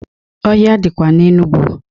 Ọhịa dịkwa n'Enugu.